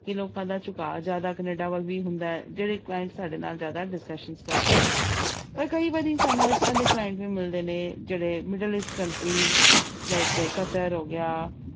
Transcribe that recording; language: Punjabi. ਕਿ ਲੋਕਾਂ ਦਾ ਝੁਕਾਅ ਜ਼ਿਆਦਾ ਕੈਨੇਡਾ ਵੱਲ ਵੀ ਹੁੰਦਾ ਹੈ ਜਿਹੜੇ client ਸਾਡੇ ਨਾਲ ਜ਼ਿਆਦਾ discussion ਕਰਦੇ ਨੇ ਪਰ ਕਈ ਵਾਰੀ ਸਾਨੂੰ ਇਸ ਤਰ੍ਹਾਂ ਦੇ client ਵੀ ਮਿਲਦੇ ਨੇ ਜਿਹੜੇ middle east country like ਹੋ ਗਿਆ,